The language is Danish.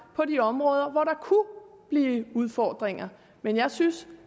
på de områder hvor der kunne blive udfordringer men jeg synes